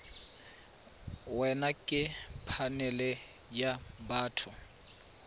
wena ke phanele ya batho